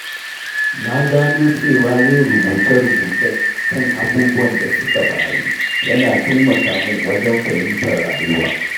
Na gano cewa yin rubuce-rubuce kan abubuwan da suka faru yana taimaka min wajen fahimtar rayuwa.